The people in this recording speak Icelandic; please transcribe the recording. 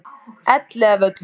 Elliðavöllum